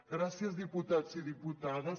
gràcies diputats i diputades